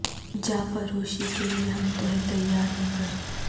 جاں فروشی کے لئے ہم تو ہیں تیار مگر